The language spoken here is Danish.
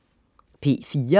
P4: